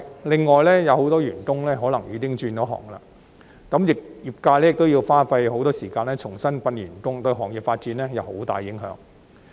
另外，有很多員工可能已轉行，業界亦要花很多時間重新訓練新員工，對行業的發展會有很大影響。